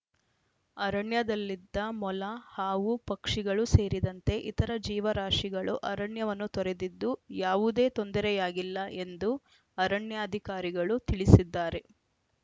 ಅರಣ್ಯದಲ್ಲಿದ್ದ ಮೊಲ ಹಾವು ಪಕ್ಷಿಗಳು ಸೇರಿದಂತೆ ಇತರ ಜೀವರಾಶಿಗಳು ಅರಣ್ಯವನ್ನು ತೊರೆದಿದ್ದು ಯಾವುದೇ ತೊಂದರೆಯಾಗಿಲ್ಲ ಎಂದು ಅರಣ್ಯಾಧಿಕಾರಿಗಳು ತಿಳಿಸಿದ್ದಾರೆ